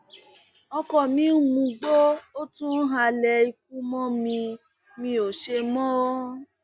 ọkọ mi ń mugbó ó tún ń halẹ ikú mọ mi mi ò ṣe mọ